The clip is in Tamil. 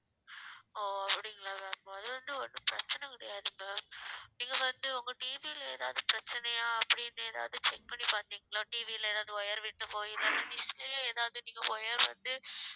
ஓ அப்டிங்களா ma'am முதல்ல இருந்து ஒண்ணும் பிரச்சனை கிடையாது ma'am நீங்க வந்து உங்க TV ல எதாவது பிரச்சனையா அப்படின்னு ஏதாவது check பண்ணி பாத்தீங்களா TV ல எதாவது wire வீட்டு போயி எதாவது dish உ எதாவது நீஙக wire வந்து